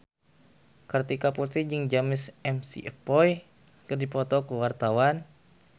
Kartika Putri jeung James McAvoy keur dipoto ku wartawan